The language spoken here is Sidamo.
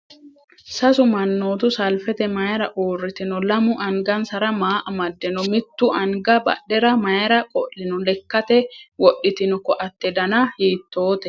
Sasu mannootu salfite mayiira uurritino? Lamu angansara maa amadde noo? Mittu anga badhera mayiira qo'lino? Lekkate wodhitino koatte Dana hiittote?